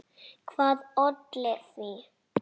Hvað olli því?